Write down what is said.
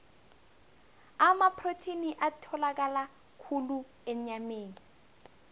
amaprotheni atholakala khulu enyameni